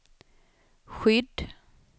skydd